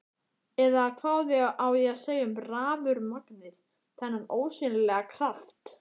Eða hvað á að segja um rafurmagnið, þennan ósýnilega kraft?